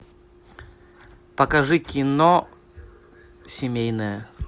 покажи кино семейное